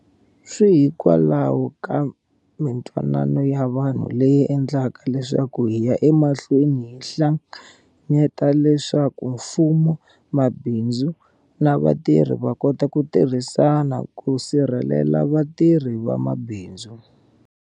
Swi hikwalaho ka mitwanano ya vanhu leyi endlaka leswaku hi ya emahlweni hi hlanganyeta leswaku mfumo, mabindzu na vatirhi va kota ku tirhisana ku sirhelela vatirhi na mabindzu